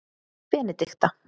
Benedikta